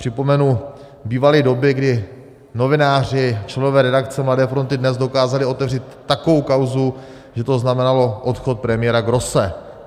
Připomenu, bývaly doby, kdy novináři, členové redakce Mladé fronty DNES dokázali otevřít takovou kauzu, že to znamenalo odchod premiéra Grosse.